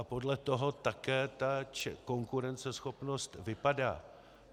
A podle toho také ta konkurenceschopnost vypadá.